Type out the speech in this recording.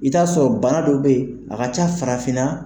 I bi t'a sɔrɔ bana dɔ bɛ yen, a ka ca farafinna.